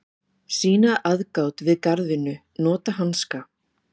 Sýna aðgát við garðvinnu, nota hanska.